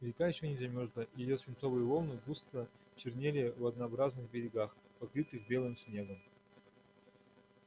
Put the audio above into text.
река ещё не замерзала и её свинцовые волны грустно чернели в однообразных берегах покрытых белым снегом